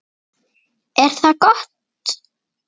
Er það gott?